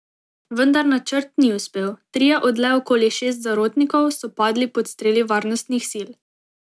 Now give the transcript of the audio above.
Vendar načrt ni uspel, trije od le okoli deset zarotnikov, so padli pod streli varnostnih sil.